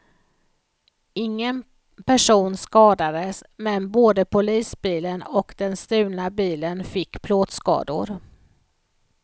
Ingen person skadades men både polisbilen och den stulna bilen fick plåtskador.